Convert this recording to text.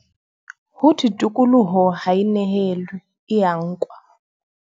Ho thwe tokoloho ha e nehelwe, e ya nkwa.